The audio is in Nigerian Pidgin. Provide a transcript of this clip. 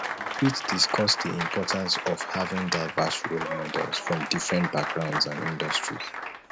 you fit discuss di importance of having diverse role models from different backgrounds and industries